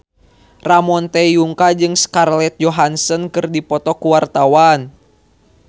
Ramon T. Yungka jeung Scarlett Johansson keur dipoto ku wartawan